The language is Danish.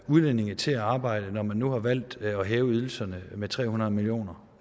udlændinge til at arbejde når man nu har valgt at hæve ydelserne med tre hundrede million